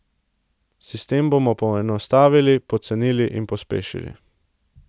Sistem bomo poenostavili, pocenili in pospešili.